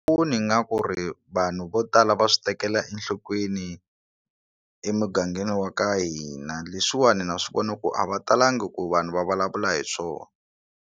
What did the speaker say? Ni nga ku ri vanhu vo tala va swi tekela enhlokweni emugangeni wa ka hina leswiwani na swi vona ku a va talanga ku vanhu va vulavula hi swona.